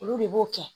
Olu de b'o kɛ